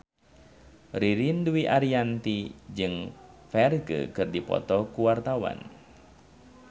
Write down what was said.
Ririn Dwi Ariyanti jeung Ferdge keur dipoto ku wartawan